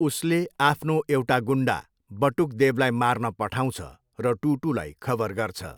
उसले आफ्नो एउटा गुन्डा बटुक देवलाई मार्न पठाउँछ र टुटुलाई खबर गर्छ।